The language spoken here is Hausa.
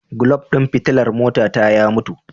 Gulaf din fitilar motata ya mutu.